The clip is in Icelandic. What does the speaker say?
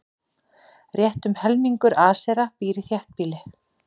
Rétt um helmingur Asera býr í þéttbýli.